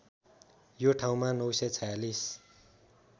यो ठाउँमा ९४६